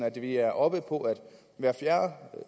at vi er oppe på at hver fjerde